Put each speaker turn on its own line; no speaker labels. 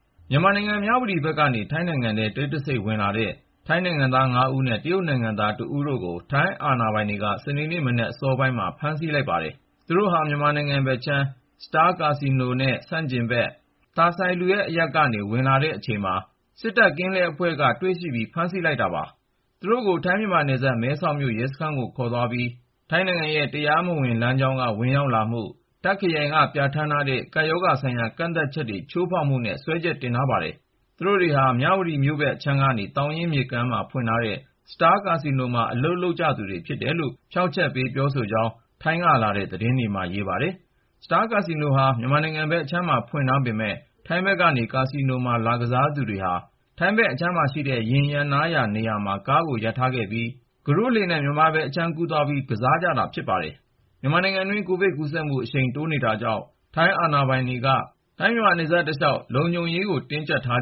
မြန်မာနိုင်ငံ၊ မြဝတီဘက်ကနေ ထိုင်းနိုင်ငံထဲ တိတ်တဆိတ်ဝင်လာတဲ့ ထိုင်းနိုင်ငံသား ၅ ဦးနဲ့ တရုတ်နိုင်ငံသား တဦးတို့ကို ထိုင်းအာဏာပိုင်တွေက စနေနေ့မနက် စောစောမှာ ဖမ်းဆီးလိုက်ပါတယ်။ သူတို့ဟာ မြန်မာနိုင်ငံဘက်အခြမ်း Star ကာဆီနိုနဲ့ ဆန့်ကျင်ဘက် Tha Sailuad အရပ်ကနေ ဝင်လာနေတဲ့အချိန် စစ်တပ်ကင်းလှည့်အဖွဲ့က တွေ့ရှိပြီး ဖမ်းဆီးလိုက်တာပါ။ သူတို့ကို ထိုင်း-မြန်မာနယ်စပ် မဲဆောက်မြို့ ရဲစခန်းကို ခေါ်သွားပြီး ထိုင်းနိုင်ငံအတွင်း တရားမဝင်လမ်းကြောင်းက ဝင်ရောက်မှု၊ တာ့ခ်ခရိုင်က ပြဋ္ဌာန်းထားတဲ့ ကပ်ရောဂါဆိုင်ရာ ကန့်သတ်ချက်တွေ ချိုးဖောက်မှုတို့နဲ့ စွဲချက်တင်ထားတယ်လို့ ဆိုပါတယ်။ သူတို့တွေဟာ မြန်မာနိုင်ငံ၊ မြဝတီမြို့ဘက်အခြမ်းက သောင်ရင်းမြစ်ကမ်းပါးမှာ ဖွင့်ထားတဲ့ Star ကာဆီနိုမှာ အလုပ် လုပ်ကြသူတွေဖြစ်တယ်လို့ ဖြောင့်ချက်ပေးခဲ့ကြကြောင်း ထိုင်းနိုင်ငံကလာတဲ့ သတင်းတွေမှာ ဖော်ပြထားပါတယ်။ Star ကာဆီနိုဟာ မြန်မာနိုင်ငံဘက်အခြမ်းမှာ ဖွင့်ထားပေမယ့် ထိုင်းဘက်ကနေ ကာဆီနိုမှာ လာကစားကြသူတွေဟာ ထိုင်းဘက်အခြမ်းမှာရှိတဲ့ ယာဉ်ရပ်နားရာနေရာမှာ ကားကိုရပ်ထားပြီး ကုတို့နဲ့ မြန်မာဘက်အခြမ်းမှာ သွားကစားကြတာလို့ ဆိုပါတယ်။ မြန်မာနိုင်ငံအတွင်း COVID-19 ကူးစက်ပြန့်ပွားမှု အရှိန်မြင့် ဖြစ်ပေါ်နေတာကြောင့် ထိုင်းအာဏာပိုင်တွေက နယ်စပ်ဒေသတလျှောက်မှာ လုံခြုံရေးတွေကို
တင်းကျပ်ထား